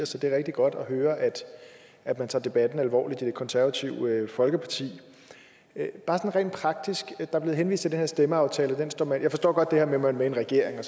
så det er rigtig godt at høre at man tager debatten alvorligt i det konservative folkeparti bare rent praktisk der er blevet henvist til den her stemmeaftale jeg forstår godt at man er med i regering og